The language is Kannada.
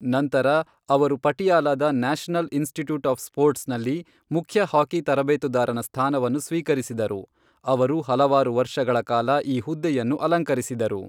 ನಂತರ, ಅವರು ಪಟಿಯಾಲಾದ ನ್ಯಾಷನಲ್ ಇನ್ಸ್ಟಿಟ್ಯೂಟ್ ಆಫ್ ಸ್ಪೋರ್ಟ್ಸ್ನಲ್ಲಿ ಮುಖ್ಯ ಹಾಕಿ ತರಬೇತುದಾರನ ಸ್ಥಾನವನ್ನು ಸ್ವೀಕರಿಸಿದರು, ಅವರು ಹಲವಾರು ವರ್ಷಗಳ ಕಾಲ ಈ ಹುದ್ದೆಯನ್ನು ಅಲಂಕರಿಸಿದರು.